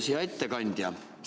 Hea ettekandja!